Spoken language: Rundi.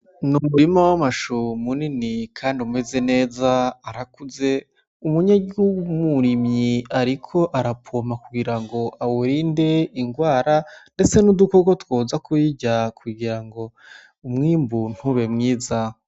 N' umurima w' amashu munini kandi umeze neza arakuze umunyagihugu w' umurimyi ariko arapompa kugira ngo awurinde ingwara ndetse n' udukoko twoza kuyirya kugira ngo umwimbu ntube mwiza.